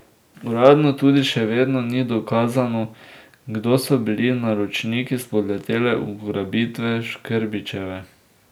Uradno tudi še vedno ni dokazano, kdo so bili naročniki spodletele ugrabitve Škrbićeve.